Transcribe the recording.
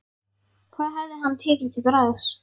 Hvað hefði hann tekið til bragðs?